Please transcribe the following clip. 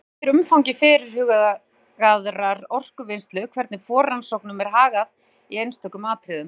Það fer svo eftir umfangi fyrirhugaðrar orkuvinnslu hvernig forrannsóknum er hagað í einstökum atriðum.